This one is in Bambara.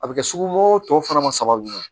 A bɛ kɛ sugu tɔ fana ma sabali